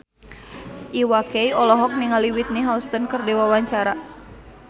Iwa K olohok ningali Whitney Houston keur diwawancara